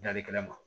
Dali kɛnɛ ma